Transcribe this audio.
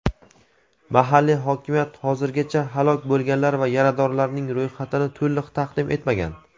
Mahalliy hokimiyat hozirgacha halok bo‘lganlar va yaradorlarning ro‘yxatini to‘liq taqdim etmagan.